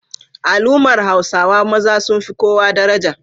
Al'ummar Hausawa maza sun fi kowa daraja.